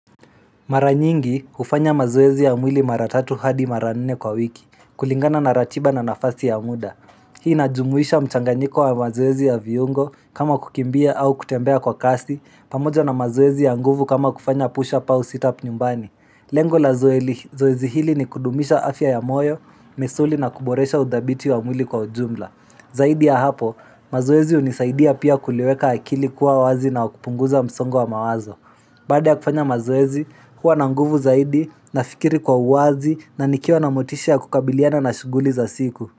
Maranyingi hufanya mazoezi ya mwili mara tatu hadi mara nne kwa wiki, kulingana na ratiba na nafasi ya muda. Hii inajumuisha mchanganyiko wa mazoezi ya viungo kama kukimbia au kutembea kwa kasi, pamoja na mazoezi ya nguvu kama kufanya pusha up au sit upp nyumbani. Lengo la zoezi hili ni kudumisha afya ya moyo, misuli na kuboresha udhabiti wa mwili kwa ujumla. Zaidi ya hapo, mazoezi hunisaidia pia kuliweka akili kuwa wazi na kupunguza msongo wa mawazo. Baada ya kufanya mazoezi, huwa na nguvu zaidi nafikiri kwa uwazi na nikiwa na motisha kukabiliana na shuguli za siku.